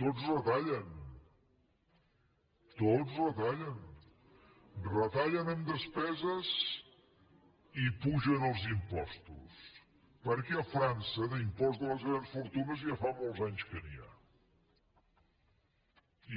tots retallen retallen en despeses i apugen els impostos perquè a frança d’impost de les grans fortunes ja fa molts anys que n’hi ha